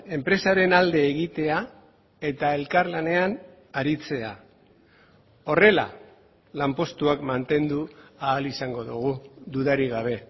enpresaren alde egitea eta elkarlanean aritzea horrela lanpostuak mantendu ahal izango dugu dudarik gabe